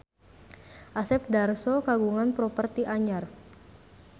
Asep Darso kagungan properti anyar